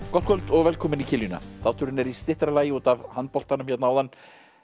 gott kvöld og velkomin í þátturinn er í styttra lagi út af handboltanum hérna áðan